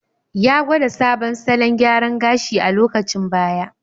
Ya gwada sabon salon gyara gashi a lokacin baya.